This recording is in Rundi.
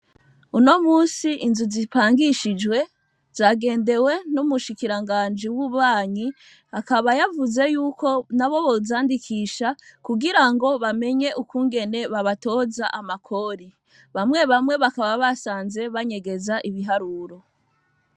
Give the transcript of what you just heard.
Uno munsi inzu zipangishijwe zagendewe n'umushukiranganji w'ububanyi. Akaba yavuze yuko n'abo bozandikisha, kugira ngo bamenye ukungene babatoza amakori. Bamwe bamwe bakaba basanze banyegeza ibiharuro.